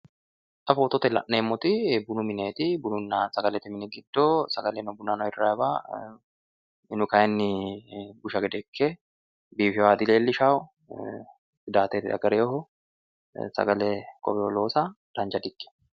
xa footote la'neemmoti bunu mineeti. bununna sagalete mini giddo shayi bunna hirrayiwa minu kaayiinni busha gede ikke biifewoha dileellishawo. tsidaate diagareewooho. sagale kowewo loosa dancha di ikkitewo.